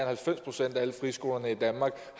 halvfems procent af alle friskolerne i danmark